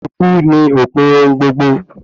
Ikú ni òpin ohun gbogbo